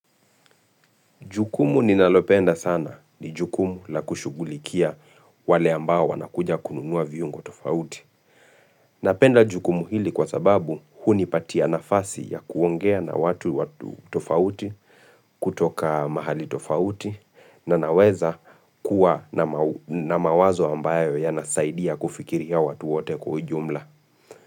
Jukumu ninalopenda sana ni jukumu la kushughulikia wale ambao wanakuja kununuwa vyungo tofauti. Napenda jukumu hili kwa sababu hunipatia nafasi ya kuongea na watu tofauti kutoka mahali tofauti na naweza kuwa na mawazo ambayo ya nasaidia kufikiri ya watu wote kwa ujumla.